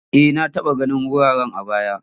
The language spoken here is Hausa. E, na taba ganin wurare a baya.